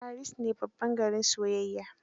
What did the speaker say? Paris ne garin soyayya.